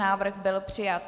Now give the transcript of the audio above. Návrh byl přijat.